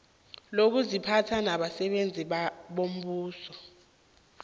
lokuziphatha labasebenzi bombuso